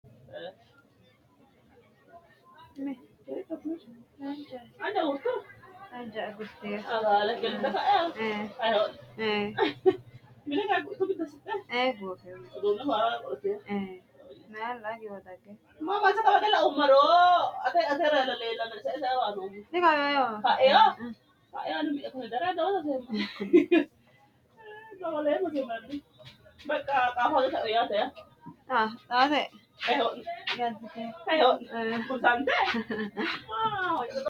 Misilete aana leeltanonke haqicho lowontani jawa ikite doogote qacera kaasante uurite manaho harani higani daanohura caa`lateno ofolateno lowo horo uyitano.